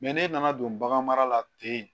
ne nana don bagan mara la ten